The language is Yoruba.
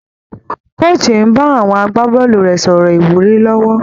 Coach ń bá àwọn agbábọ́ọ̀lù rẹ̀ sọ̀rọ̀ ìwúrí lọ́wọ́